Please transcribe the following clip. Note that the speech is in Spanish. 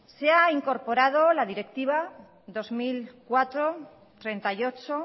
se ha incorporado la directiva dos mil cuatro barra treinta y ocho